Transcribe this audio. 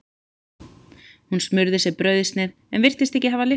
Hún smurði sér brauðsneið en virtist ekki hafa lyst á henni.